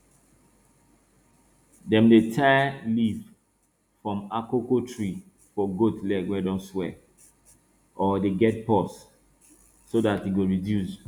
dem dey tie leaf from akoko tree for goat leg wey don swell or dey get pus so dat e go reduce